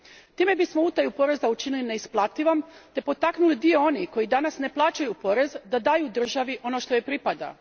Time bismo utaju poreza učinili neisplativom te potaknuli dio onih koji danas ne plaćaju porez da daju državi ono što joj pripada.